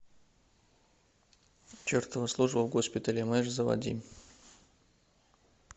чертова служба в госпитале мэш заводи